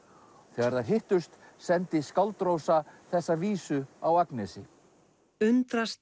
þegar þær hittust sendi skáld Rósa þessa vísu á Agnesi undrast